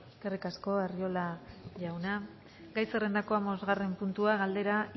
eskerrik asko arriola jauna gai zerrendako hamabostaren puntua galdera